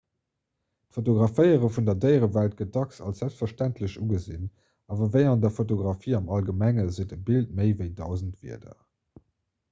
d'fotograféiere vun der déierewelt gëtt dacks als selbstverständlech ugesinn awer ewéi an der fotografie am allgemengen seet e bild méi ewéi dausend wierder